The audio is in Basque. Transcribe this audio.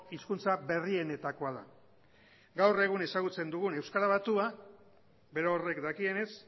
hizkuntza berrienetakoa da gaur egun ezagutzen dugun euskara batua berorrek dakienez